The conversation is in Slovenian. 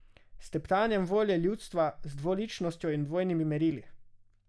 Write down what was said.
S teptanjem volje ljudstva, z dvoličnostjo in dvojnimi merili.